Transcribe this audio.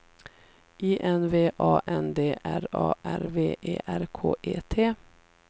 I N V A N D R A R V E R K E T